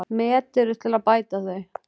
Met eru til að bæta þau.